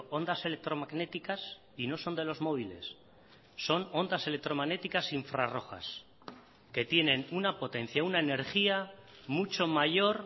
ondas electromagnéticas y no son de los móviles son ondas electromagnéticas infrarrojas que tienen una potencia una energía mucho mayor